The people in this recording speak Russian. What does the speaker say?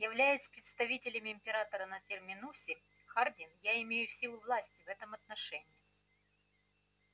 являясь представителем императора на терминусе хардин я имею силу власти в этом отношении